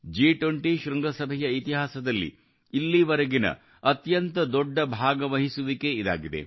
ಜಿ20 ಶೃಂಗಸಭೆಯ ಇತಿಹಾಸದಲ್ಲಿ ಇಲ್ಲಿವರೆಗಿನ ಅತ್ಯಂತ ದೊಡ್ಡ ಭಾಗವಹಿಸುವಿಕೆ ಇದಾಗಿದೆ